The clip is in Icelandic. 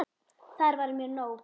Það var mér nóg.